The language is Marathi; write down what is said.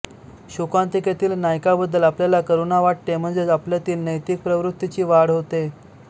शोकांतिकेतील नायकाबद्दल आपल्याला करुणा वाटते म्हणजेच आपल्यातील नैतिक प्रवृत्तीची वाढ होते